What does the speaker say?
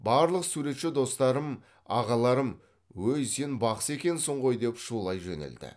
барлық суретші достарым ағаларым өй сен бақсы екенсің ғой деп шулай жөнелді